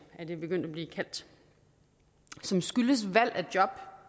er det begyndt at blive kaldt som skyldes valg af job